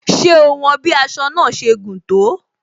Ṣé o won bí aṣọ náà ṣe gùn tó?